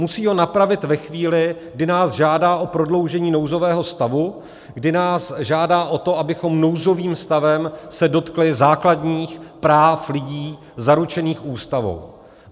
Musí ho napravit ve chvíli, kdy nás žádá o prodloužení nouzového stavu, kdy nás žádá o to, abychom nouzovým stavem se dotkli základních práv lidí zaručených Ústavou.